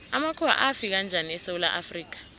amakhuwa afika njani esewula afrika